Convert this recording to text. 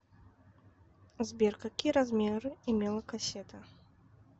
сбер какие размеры имела кассета